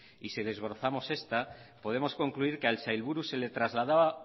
y si desbrozamos esta podemos concluir que al sailburu se le trasladaba